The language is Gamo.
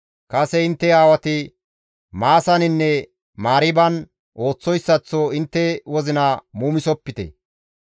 «Kase intte aawati Maasaninne Mariiban ooththoyssaththo intte wozina muumisopite.